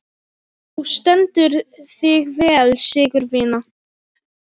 Þú stendur þig vel, Sigurvina!